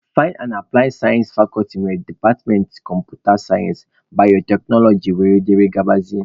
Pịyọ na aplaị sayensị fakọlti nwere departmentị kọmputa sayensị, bayoteknoloji wdg.